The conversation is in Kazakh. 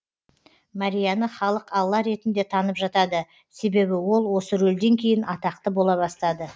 марияны халық алла ретінде танып жатады себебі ол осы рөлден кейін атақты бола бастады